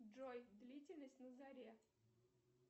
джой длительность на заре